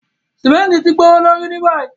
Símẹ̀ntì ti gbowolorí ní bayí.